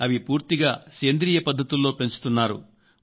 అవి పూర్తిగా సేంద్రియ పద్ధతుల్లో పెంచుతున్నారు